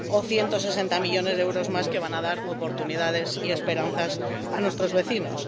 o 160 millones de euros más que van a dar oportunidades y esperanzas a nuestros vecinos.